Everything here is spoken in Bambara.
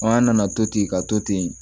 An nana to ten ka to ten